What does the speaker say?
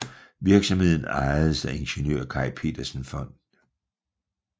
Virksomheden ejedes af Ingeniør Kai Petersens Fond